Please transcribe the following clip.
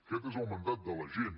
aquest és el mandat de la gent